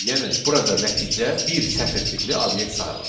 Yəni burada nəticə bir sətr tipli obyekt sayılır.